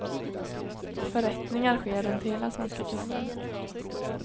Förrättningar sker runt hela svenska kusten.